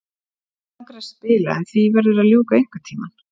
Mig langar að spila en því verður að ljúka einhvern tímann.